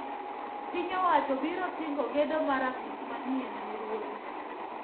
Piny owacho biro singo gedo mar apis manyien ne ruodhi